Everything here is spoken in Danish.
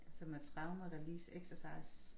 Som er trauma release exercise